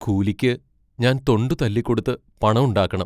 കൂലിക്ക് ഞാൻ തൊണ്ട് തല്ലിക്കൊടുത്ത് പണം ഉണ്ടാക്കണം.